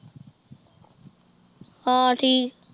ਹਨ ਠੀਕ